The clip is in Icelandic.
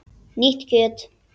Nýtt kjöt!